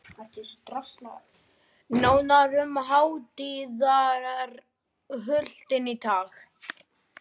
Nánar um hátíðarhöldin í dag